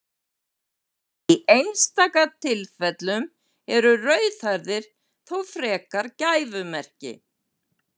Í einstaka tilfellum eru rauðhærðir þó frekar gæfumerki.